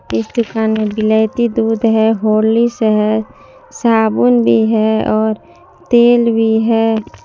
इस दुकान में विलायती दूध है होरलीश है साबुन भी है और तेल भी है।